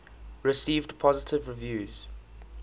received positive reviews